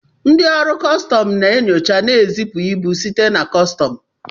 Ndị ọrụ kọstọm na enyocha ma ezipụ ibu site na kọsọm.